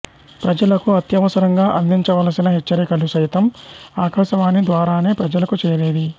ప్రజలకు అత్యవసరంగా అందించ వలసిన హెచ్చరికలు సైతం ఆకాశవాణి ద్వారానే ప్రలకు చేరేవి